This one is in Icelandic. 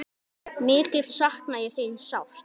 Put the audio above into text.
Mikið sakna ég þín sárt.